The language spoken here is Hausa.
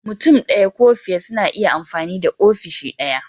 Mutum ɗaya ko fiye suna iya amfani da ofishi ɗaya.